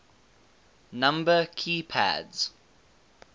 number key pads